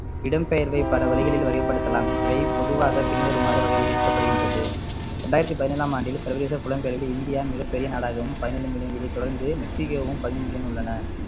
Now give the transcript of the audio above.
இடம்பெயர்வை பல வழிகளில் வகைப்படுத்தலாம் இவை பொதுவாக பின்வருமாறு வகைப்படுத்தப்படுகின்றது இரண்டாயிரத்து பதினேழாம் ஆண்டில் சர்வதேச புலம்பெயர்வில் இந்தியா மிகப்பெரிய நாடாகவும் பதினேழு million இதை தொடர்ந்து மெக்சிகோவும் உள்ளன